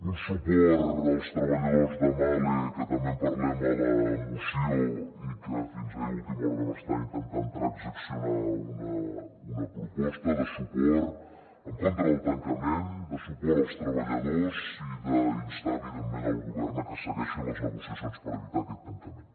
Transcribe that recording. un suport als treballadors de mahle que també en parlem a la moció i que fins ahir a última hora vam estar intentant transaccionar una proposta de suport en contra del tancament de suport als treballadors i d’instar evidentment el govern a que segueixin les negociacions per evitar aquest tancament